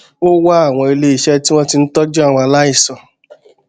ó wá àwọn iléiṣẹ tí wón ti ń tójú àwọn aláìsàn